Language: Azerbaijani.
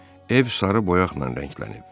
Ev sarı boyaqla rənglənib.